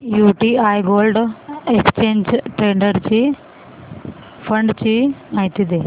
UTI gold exchange traded fund ची माहिती दे